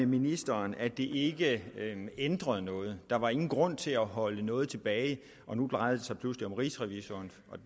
ministeren at det ikke ændrede noget der var ingen grund til at holde noget tilbage og nu drejer det sig pludselig om rigsrevisor